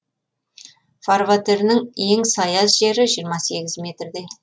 фарватерінің ең саяз жері жиырма сегіз метрдей